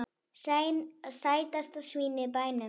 Sætasta svínið í bænum!